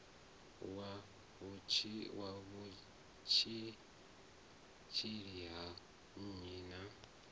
wa vhutshutshisi ha nnyi na